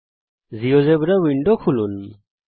নতুন GeoGebra window খুলুন